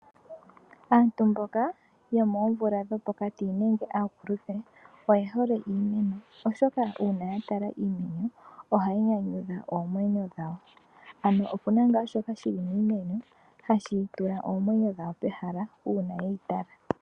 Aantu mboka yomoomvula dhopokati nenge aakulupe oyehole iimeno , oshoka una yatala iimeno ohayi nyanyudha oomwenyo dhawo ano opuna nga shoka shili miimeno hashi tula omwneyo dhawo pomahala una yeyi tala.